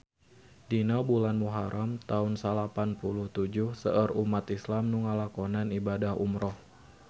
Dina bulan Muharam taun salapan puluh tujuh seueur umat islam nu ngalakonan ibadah umrah